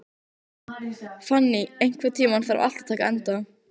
Fanný, einhvern tímann þarf allt að taka enda.